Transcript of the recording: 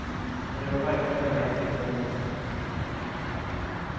Och det var verkligen en ren tillfällighet.